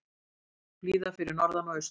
Blíða fyrir norðan og austan